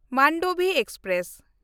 Mandovi express